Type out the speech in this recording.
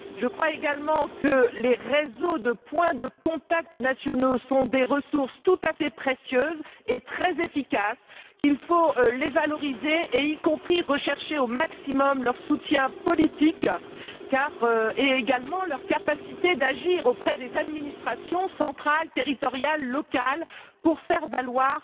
Je crois également que les réseaux de points de contact nationaux sont des ressources tout à fait précieuses et très efficaces, qu'il faut les valoriser et rechercher au maximum leur soutien politique ainsi que leur capacité d'agir auprès des administrations centrales, territoriales et locales pour faire valoir